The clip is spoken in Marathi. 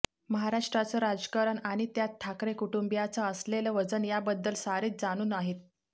महाराष्ट्राचं राजकारण आणि त्यात ठाकरे कुटुंबियांचं असलेलं वजन याबद्दल सारेच जाणून आहेत